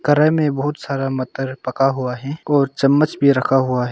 कराई में बहुत सारा मटर पका हुआ है और चम्मच भी रखा हुआ है।